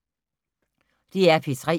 DR P3